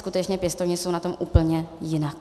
Skutečně pěstouni jsou na tom úplně jinak.